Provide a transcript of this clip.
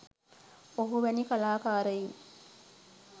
ඔහු වැනි කලාකාරයින්